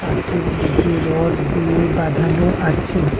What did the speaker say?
কাঠের মধ্যে রড দিয়ে বাঁধানো আছে।